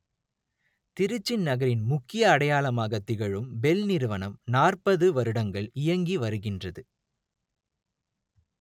திருச்சி நகரின் முக்கிய அடையாளமாக திகழும் பெல் நிறுவனம் நாற்பது வருடங்கள் இயங்கி வருகின்றது